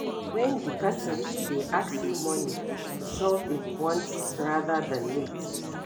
When di person dey ask you money to solve im wants rather than need